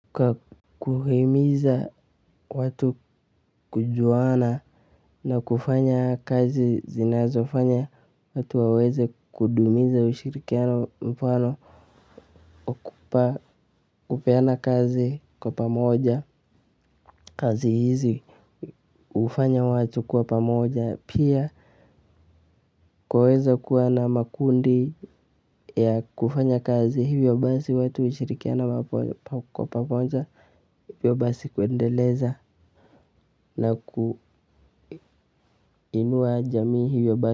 Kwa kuhimiza watu kujuana na kufanya kazi zinazofanya watu waweze kudumiza ushirikiano mfano kupeana kazi kwa pamoja kazi hizi hufanya watu kuwa pamoja pia kwaweza kuwa na makundi ya kufanya kazi hivyo basi watu hushirikiana kwa pamoja hivyo basi kuendeleza na kuinua jamii hivyo basi.